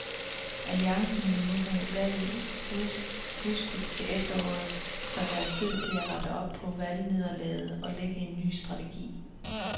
Alliancen vil nu have valget udskudt til efteråret, så der er tid til at rette op på valgnederlaget og lægge en ny strategi.